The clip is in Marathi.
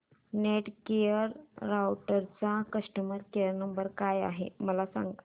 नेटगिअर राउटरचा कस्टमर केयर नंबर काय आहे मला सांग